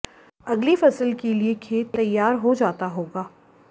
अगली फसल के लिए खेत तैयार हो जाता होगा